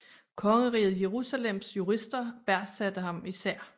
Kongeriget Jerusalems jurister værdsatte ham især